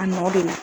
A nɔ de don